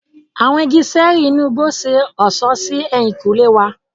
Awọn igi ṣẹẹri inú igbó ṣe ọṣọ sí ehinkunle wà.